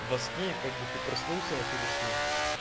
во сне и как бы ты проснулся но ты во сне